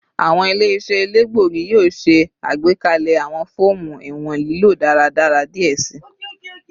Awọn ile-iṣẹ elegbogi yoo ṣe agbekalẹ awọn fọọmu iwọn lilo daradara diẹ sii